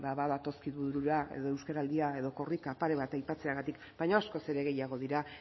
badatozkigu edo euskaraldia edo korrika pare bat aipatzeagatik baina askoz ere gehiago